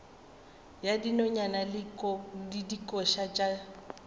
ya dinonyane le dikoša tša